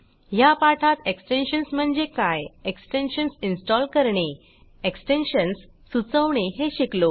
ह्या पाठात एक्सटेन्शन्स म्हणजे काय एक्सटेन्शन्स इन्स्टॉल करणे एक्सटेन्शन्स सुचवणे हे शिकलो